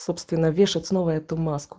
собственно вешать снова эту маску